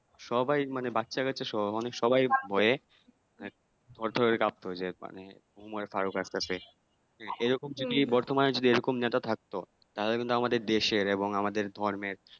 সবাই মানে বাচ্চাকাচ্চা সহ মানে সবাই ভয়ে হয়ে যায় মানে উমার ফারুক একটাতে এরকম যদি বর্তমানে যদি এরকম নেতা থাকতো তালে কিন্তু আমাদের দেশের এবং আমাদের ধর্মের